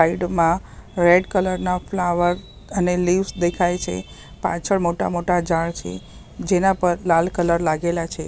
Side મા red colour ના flower અને લિવ્સ દેખાય છે પાછળ મોટા-મોટા ઝાડ છે જેના પર લાલ કલર લાગેલા છે.